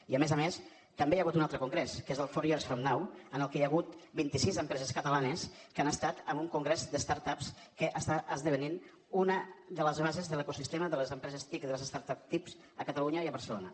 i a més a més també hi ha hagut un altre congrés que és el four years from now en què hi ha hagut vint i sis empreses catalanes que han estat en un congrés de start upsque està esdevenint una de les bases de l’ecosistema de les empreses tic de les startups tic a catalunya i a barcelona